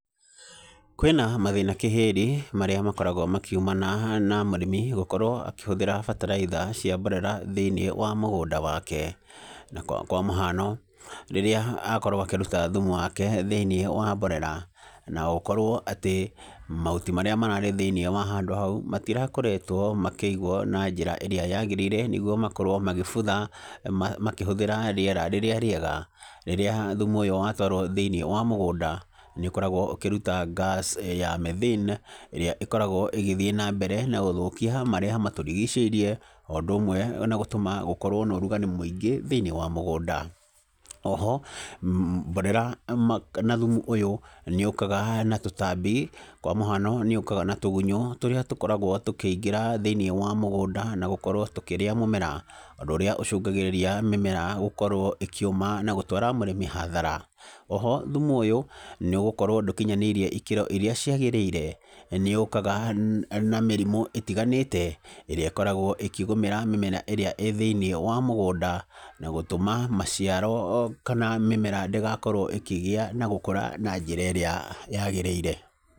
Kwĩna mathĩna kĩhĩri marĩa makoragwo makĩumana na mũrĩmi gũkorwo akĩhũthĩra bataraitha cia mborera thĩinĩ wa mũgũnda wake, na kwamũhano rĩrĩa akorwo akĩruta thumu wake thĩinĩ wa mborera, na ũkorwo atĩ mahuti marĩa mararĩ thĩinĩ wa handũ hau, matirakoretwo makĩigwo na njĩra ĩrĩa yagĩrĩire n ĩguo makorwo magĩbutha makĩhũthĩra rĩera rĩrĩa rĩega, rĩrĩa thumu ũyũ watwarwo thĩinĩ wa mũgũnda, nĩ ũkoragwo ũkĩruta ngaci ya Methane, ĩrĩa ĩkoragwo ĩgĩthiĩ na mbere na gũthũkia marĩa atũrigicĩirie, o ũndũ ũmwe na gũtũma gũkorwo na ũrugarĩ mwĩingĩ thĩinĩ wa mũgũnda, oho mborera ma na thumu ũyũ nĩ ũkaga na tũtambi, kwa mũhano nĩ ũkaga na tũgunyo tũrĩa tũkoragwo tũkĩingĩra thĩinĩ wa mũgũnda na gũkorwo tũkĩrĩa mũmera, ũndũ ũrĩa ũcungagĩrĩria mũmera gũkorwo ũkĩũma na gũtwara mũrĩmi hathara, oho thumu ũyũ nĩgũkorwo ndũkinyĩtie ikĩro iria ciagĩrĩire, nĩ ũkaga na mĩrimũ ĩtiganĩte, ĩrĩa ĩkoragwo ĩkĩgũmĩra mĩmera ĩrĩa ĩ thĩinĩ wa mũgũnda, na gũtũma maciaro o kana mĩmera ndĩgakorwo ĩkĩgĩa na gũkũra na njĩra ĩrĩa yagĩrĩire.